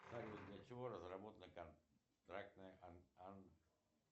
салют для чего разработана контрактная